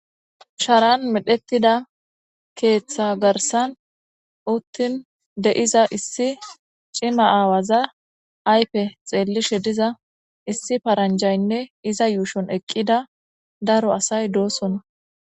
Sharan medhetida keetha garsan de'iza issi cima aawaza Ayfe xeelishe diza issi paranjayne iza yuushon eqida daro asay de'osona.